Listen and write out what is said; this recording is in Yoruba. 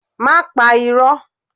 Má pa irọ́!